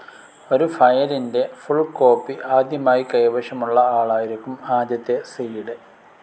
ഒരു ഫയലിന്റെ full copy ആദ്യമായി കൈവശം ഉള്ള ആളായിരിക്കും ആദ്യത്തെ സീഡ്.